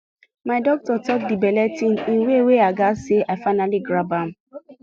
my doctor talk the belle thing in way wey i gatz say i finally grab am